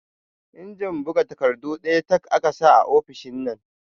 Injin bugs takardu ɗaya tak aka sa a ofishin nan